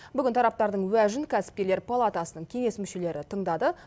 бүгін тараптардың уәжін кәсіпкерлер палатасының кеңес мүшелері тыңдады